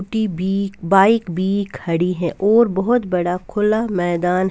छोटी भी बाइक भी खड़ी है और बहुत बड़ा खुला मैदान.